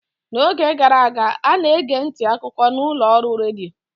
n'oge gara aga, a na-ege ntị akụkọ na ụlọ ọrụ redio